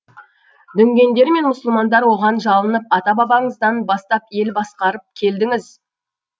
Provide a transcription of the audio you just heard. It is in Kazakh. дүнгендер мен мұсылмандар оған жалынып ата бабаңыздан бастап ел басқарып келдіңіз